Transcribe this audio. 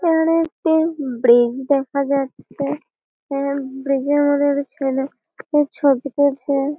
এখানে একটি ব্রীজ দেখা যাচ্ছে। ব্রীজ -এর মধ্যে ছেলে ছবি তুলছে।